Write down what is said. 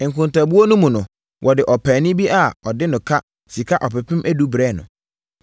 Nkontabuo no mu no, wɔde ɔpaani bi a ɔde no ka sika ɔpepem edu brɛɛ no.